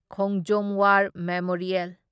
Khongjom war memorial